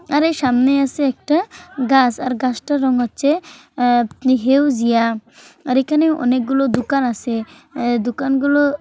আর এই সামনে আছে একটা গাছ আরগাছটা রং হচ্ছে আ-হেউ জিয়া আর এখানে অনেকগুলো দোকান আছে দোকান গুলো--